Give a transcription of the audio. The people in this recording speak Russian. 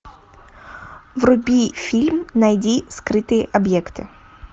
вруби фильм найди скрытые объекты